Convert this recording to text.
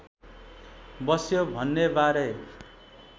बस्यो भन्नेबारे